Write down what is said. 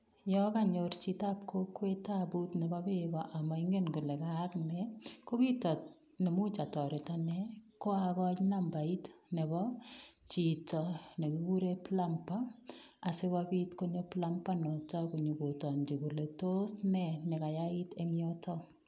Yo kanyor chitab kokwet tabut nebo beeko amaingen kole kayaak ne, ko kit ne much atoret ko agoi nambait nebo chito ne kigiren plumber asigopit konyo plumber noto konyogotongji kole tos ne negayait eng yutok.